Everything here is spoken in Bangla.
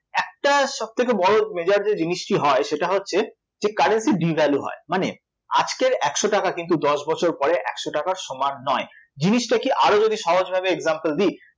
একটা সবথেকে বড় major যে জিনিসটি হয় সেটি হচ্ছে যে currency devalue হয় মানে আজকের একশ টাকা কিন্তু দশ বছর পরে একশ টাকার সমান নয়, জিনিসটাকে আরও যদি সহজ ভাবে example দিই